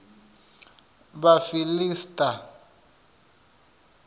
vhafiḽista